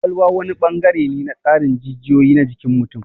Ƙwaƙwalwa wani bangare ne na tsarin jijiyoyi na jikin mutum.